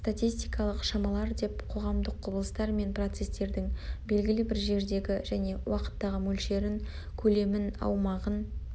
статистикалық шамалар деп қоғамдық құбылыстар мен процестердің белгілі бір жердегі және уақыттағы мөлшерін көлемін аумағын